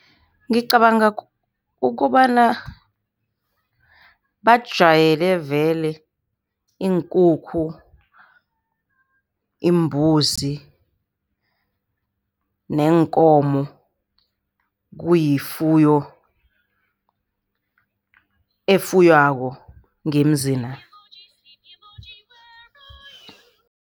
Ngicabanga ukobana bajwayele vele iinkukhu, imbuzi neenkomo. Kuyifuyo efuywako ngemzina.